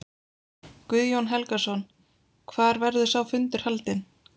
Guðjón Helgason: Hvar verður sá fundur haldinn?